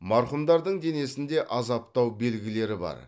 марқұмдардың денесінде азаптау белгілері бар